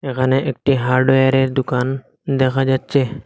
এখানে একটি হার্ডওয়ারের দোকান দেখা যাচ্ছে।